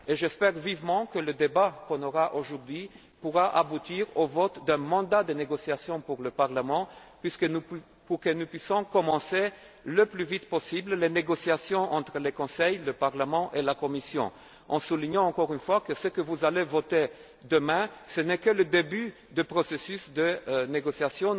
J'espère vivement que le débat que nous aurons aujourd'hui pourra aboutir au vote d'un mandat de négociation pour le Parlement de façon que nous puissions entamer le plus vite possible les négociations entre le Conseil, le Parlement et la Commission, en soulignant encore une fois que ce que vous voterez demain n'est que le début du processus de négociation.